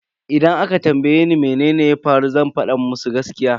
Idan aka tambaye ni mene ya faru zan fada musu gaskiya.